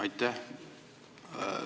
Aitäh!